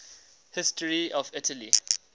history of italy